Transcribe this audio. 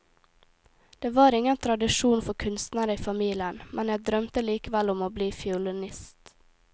Det var ingen tradisjon for kunstnere i familien, men jeg drømte likevel om å bli fiolinist.